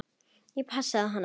Ég passaði hana.